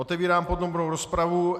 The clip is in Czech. Otevírám podrobnou rozpravu.